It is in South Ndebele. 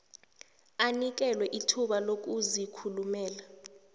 anikelwe ithuba lokuzikhulumela